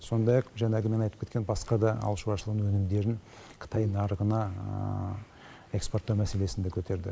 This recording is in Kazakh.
сондай ақ жаңағы мен айтып кеткен басқа да ауыл шаруашылығының өнімдерін қытай нарығына экспорттау мәселесін де көтерді